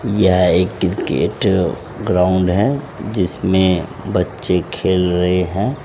यह एक cricket ground है जिसमें बच्चे खेल रहे हैं।